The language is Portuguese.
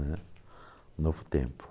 Né? Um novo tempo.